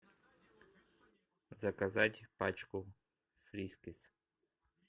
заказать пачку фрискис